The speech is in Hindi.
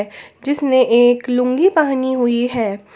जिसने एक लुंगी पहनी हुई है।